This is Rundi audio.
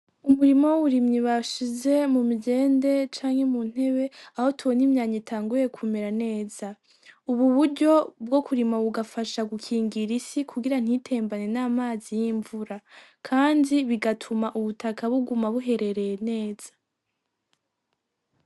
Umurima w'uburimyi bashize mu migende canke mu ntebe aho tubona imyanya itanguye kumera neza ubu buryo bwo kurima bugafasha gukingira isi kugira ntitembane n'amazi y'imvura kandi bigatuma ubutaka buguma buherereye neza